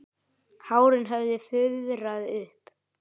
Hárin höfðu fuðrað upp.